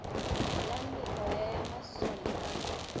la meoya ya masole a